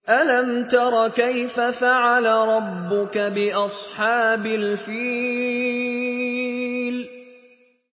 أَلَمْ تَرَ كَيْفَ فَعَلَ رَبُّكَ بِأَصْحَابِ الْفِيلِ